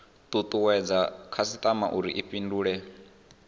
tutuwedze khasitama uri i fhindule